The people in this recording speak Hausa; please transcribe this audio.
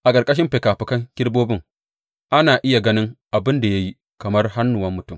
A ƙarƙashin fikafikan kerubobin ana iya ganin abin da ya yi kamar hannuwan mutum.